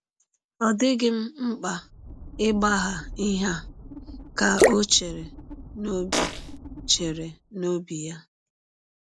‘ Ọ dịghị m mkpa ịgbagha ihe a, ’ ka ọ chere n’ọbi chere n’ọbi ya.